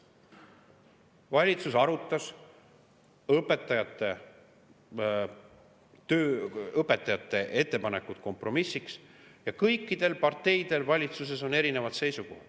Valitsus arutas õpetajate ettepanekuid kompromissiks ja kõikidel parteidel valitsuses on erinevad seisukohad.